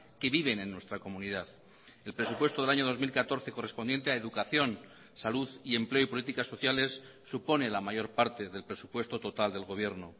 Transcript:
que viven en nuestra comunidad el presupuesto del año dos mil catorce correspondiente a educación salud y empleo y políticas sociales supone la mayor parte del presupuesto total del gobierno